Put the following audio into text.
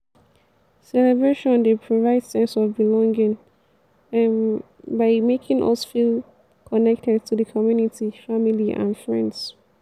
celebration dey provide sense of belonging um by making us feel connected to di community family and friends.